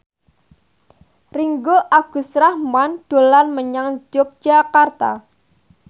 Ringgo Agus Rahman dolan menyang Yogyakarta